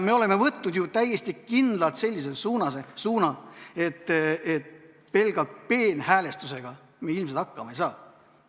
Me oleme võtnud ju täiesti kindlalt sellise suuna, et pelgalt peenhäälestusega me ilmselt hakkama ei saa.